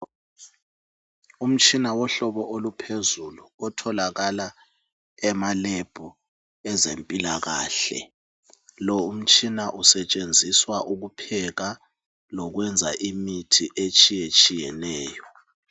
Umtshina wohlobo oluphezulu othalakala emalebhu ezempilakahle lowu umtshina usetshenziswa ukupheka lokwenza imithi etshiyetshiyeneyo.